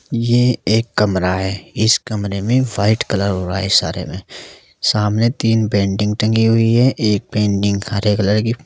ये एक कमरा है इस कमरे में वाइट कलर हुआ है सारे में सामने तीन पेंटिंग टंगी हुई है एक पेंटिंग हरे कलर की--